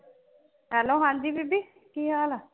ਹਾਲੋ ਹਾਂਜੀ ਬੀਬੀ ਕਿ ਹਾਲ ਹੈ